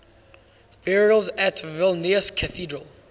burials at vilnius cathedral